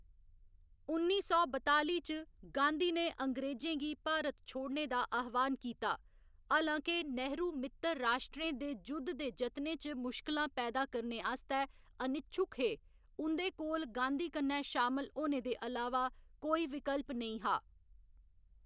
उन्नी सौ बताली च, गांधी ने अंग्रेजें गी भारत छोड़ने दा आह्‌वान कीता, हालां के नेहरू मित्तर राश्ट्रें दे जुद्ध दे जतनें च मुश्किलां पैदा करने आस्तै अनिच्छुक हे, उं'दे कोल गांधी कन्नै शामल होने दे अलावा कोई विकल्प नेईं हा।